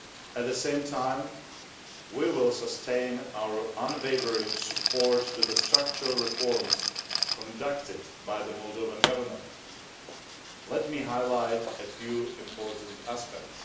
At the same time, we will sustain our unwavering support to the structural reforms conducted by the Moldovan Government. Let me highlight a few important aspects.